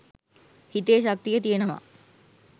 හිතේ ශක්තිය තියනවා